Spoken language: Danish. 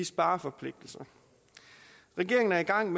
spareforpligtelser regeringen er i gang